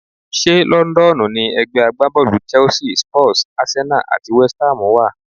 Ṣé Lọ́ńdọ́ọ̀nù ni ẹ̀gbẹ́ agbábọ́ọ̀lù Chelsea, Spurs, Arsenal àti West Ham wà?